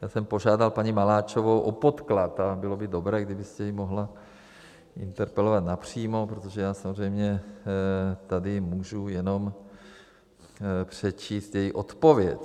Já jsem požádal paní Maláčovou o podklad, ale bylo by dobré, kdybyste ji mohla interpelovat napřímo, protože já samozřejmě tady můžu jenom přečíst její odpověď: